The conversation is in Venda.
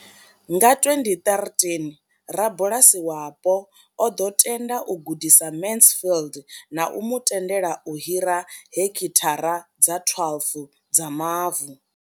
Nga 2013, rabulasi wapo o ḓo tenda u gudisa Mansfield na u mu tendela u hira heki thara dza 12 dza mavu.